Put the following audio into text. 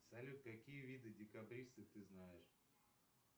салют какие виды декабристы ты знаешь